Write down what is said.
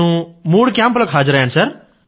నేను మూడు కేంప్ లకు హాజరయ్యాను సర్